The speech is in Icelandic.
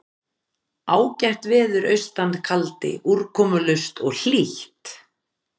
Ágætt veður austan kaldi úrkomulaus og hlýtt.